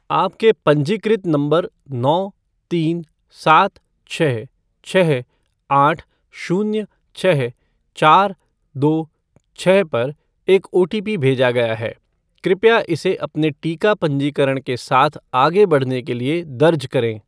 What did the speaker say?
आपके पंजीकृत नंबर नौ तीन सात छः छः आठ शून्य छः चार दो छः पर एकओटीपी भेजा गया है, कृपया इसे अपने टीका पंजीकरण के साथ आगे बढ़ने के लिए दर्ज करें।